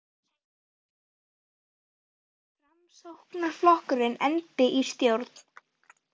Heimir: Ertu að vona að Framsóknarflokkurinn endi í stjórn?